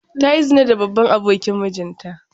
Ta yi zina da babban abokin mijinta.